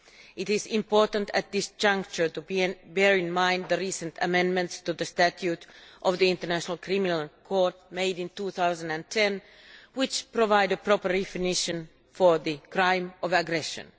It is important at this juncture to bear in mind the recent amendments to the Statute of the International Criminal Court, drawn up in 2010, which provide a proper definition of the crime of aggression.